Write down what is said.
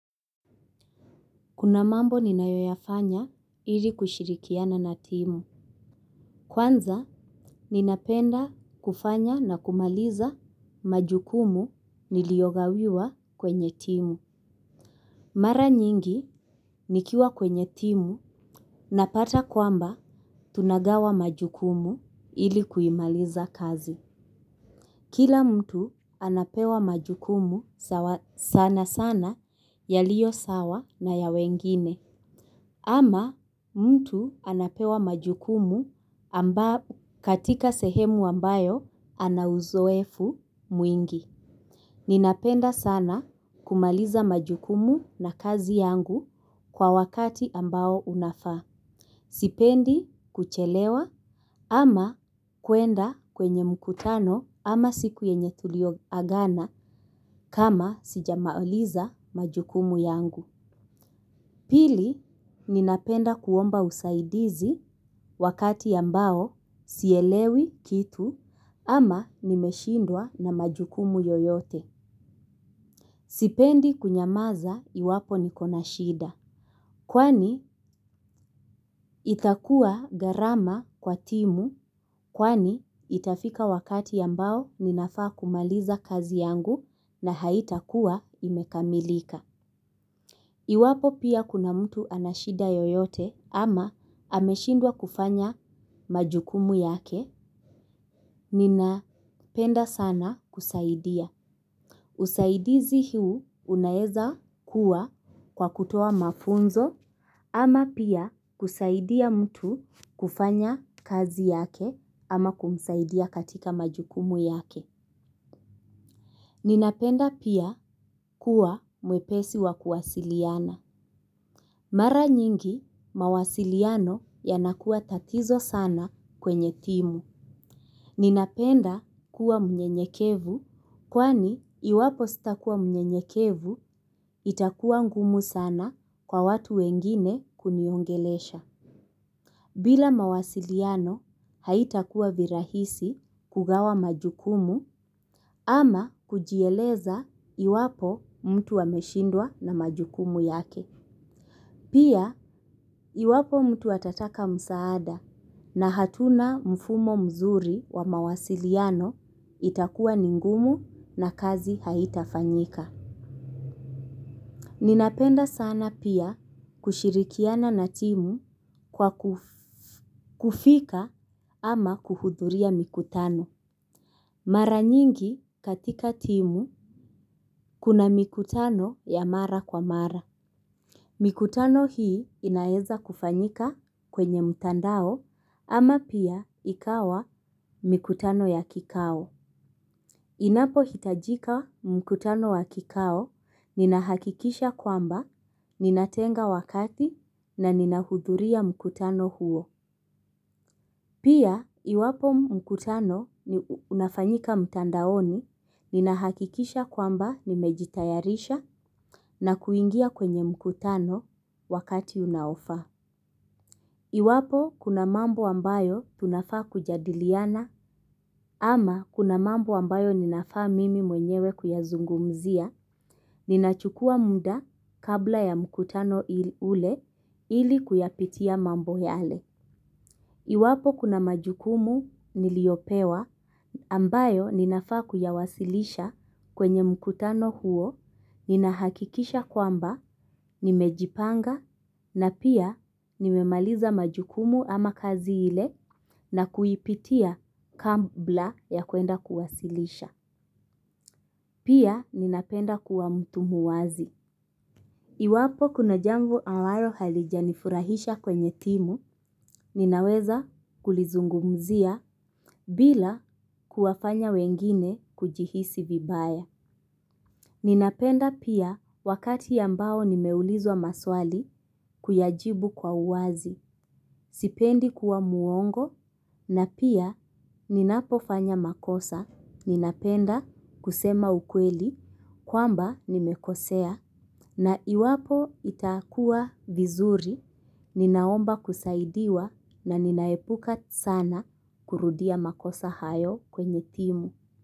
Kuna mambo ninayoyafanya ili kushirikiana na timu. Kwanza ninapenda kufanya na kumaliza majukumu niliyogawiwa kwenye timu. Mara nyingi nikiwa kwenye timu napata kwamba tunagawa majukumu ili kuimaliza kazi. Kila mtu anapewa majukumu sana sana yaliyo sawa na ya wengine. Ama mtu anapewa majukumu katika sehemu ambayo ana uzoefu mwingi. Ninapenda sana kumaliza majukumu na kazi yangu kwa wakati ambao unafaa. Sipendi kuchelewa ama kuenda kwenye mkutano ama siku yenye tuliyoagana kama sijamaliza majukumu yangu. Pili, ninapenda kuomba usaidizi wakati ambao sielewi kitu ama nimeshindwa na majukumu yoyote. Sipendi kunyamaza iwapo niko na shida. Kwani itakuwa gharama kwa timu kwani itafika wakati ambao ninafaa kumaliza kazi yangu na haitakuwa imekamilika. Iwapo pia kuna mtu ana shida yoyote ama ameshindwa kufanya majukumu yake, ninapenda sana kusaidia. Usaidizi huu unaeza kuwa kwa kutoa mafunzo ama pia kusaidia mtu kufanya kazi yake ama kumsaidia katika majukumu yake. Ninapenda pia kuwa mwepesi wa kuwasiliana. Mara nyingi mawasiliano yanakuwa tatizo sana kwenye timu. Ninapenda kuwa mnyenyekevu kwani iwapo sitakuwa mnyenyekevu itakuwa ngumu sana kwa watu wengine kuniongelesha. Bila mawasiliano haitakuwa virahisi kugawa majukumu ama kujieleza iwapo mtu ameshindwa na majukumu yake. Pia iwapo mtu atataka msaada na hatuna mfumo mzuri wa mawasiliano itakuwa ni ngumu na kazi haitafanyika. Ninapenda sana pia kushirikiana na timu kwa kufika ama kuhudhuria mikutano. Mara nyingi katika timu kuna mikutano ya mara kwa mara. Mikutano hii inaeza kufanyika kwenye mtandao ama pia ikawa mikutano ya kikao. Inapohitajika mkutano wa kikao ninahakikisha kwamba ninatenga wakati na ninahudhuria mkutano huo. Pia iwapo mkutano unafanyika mtandaoni ninahakikisha kwamba nimejitayarisha na kuingia kwenye mkutano wakati unaofaa. Iwapo kuna mambo ambayo tunafaa kujadiliana ama kuna mambo ambayo ninafaa mimi mwenyewe kuyazungumzia, ninachukua muda kabla ya mkutano ule ili kuyapitia mambo yale. Iwapo kuna majukumu niliopewa ambayo ninafaa kuyawasilisha kwenye mkutano huo, ninahakikisha kwamba nimejipanga na pia nimemaliza majukumu ama kazi ile na kuipitia kabla ya kuenda kuwasilisha. Pia ninapenda kuwa mtu muwazi. Iwapo kuna jambo amblao halijanifurahisha kwenye timu, ninaweza kulizungumzia bila kuwafanya wengine kujihisi vibaya. Ninapenda pia wakati ambao nimeulizwa maswali kuyajibu kwa uwazi, sipendi kuwa mwongo, na pia ninapofanya makosa. Ninapenda kusema ukweli kwamba nimekosea na iwapo itakuwa vizuri ninaomba kusaidiwa na ninaepuka sana kurudia makosa hayo kwenye timu.